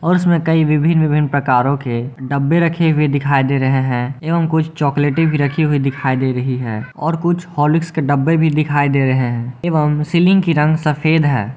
और इसमें कई विभिन्न विभिन्न प्रकारों के डब्बे रखे हुए दिखाई दे रहे हैं एवं कुछ चॉकलेटी भी रखी हुई दिखाई दे रही है और कुछ हॉर्लिक्स के डब्बे भी दिखाई दे रहे हैं एवं सीलिंग की रंग सफेद है।